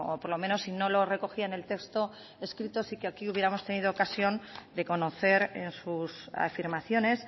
por lo menos si no lo recogía en el texto escrito sí que aquí hubiéramos tenido ocasión de conocer en sus afirmaciones